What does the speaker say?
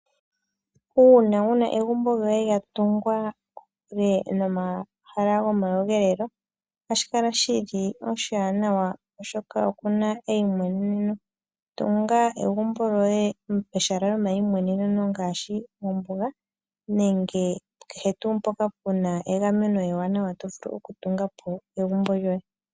Uuna wu na egumbo lyoye lya tungwa kokule nomomahala lyomakudhilo, ohashi kala shi li oshiwanawa, oshoka oku na eimweneneno. Tunga egumbo lyoye pehala lyomaimwenene ngaashi mombuga nenge kehe tuu mpoka pu na egameno ewanawa to vulu okutunga po egumbo lyoye.